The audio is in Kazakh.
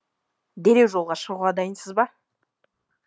дереу жолға шығуға дайынсыз ба